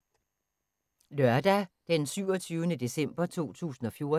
Lørdag d. 27. december 2014